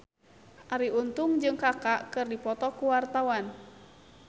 Arie Untung jeung Kaka keur dipoto ku wartawan